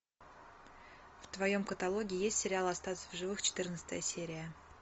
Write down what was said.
в твоем каталоге есть сериал остаться в живых четырнадцатая серия